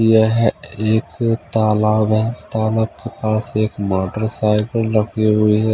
यह एक तालाब है तालाब के पास एक मोटरसाइकिल रखी हुई है।